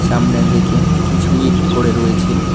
সামনের দিকে কিছু ইট পড়ে রয়েছে।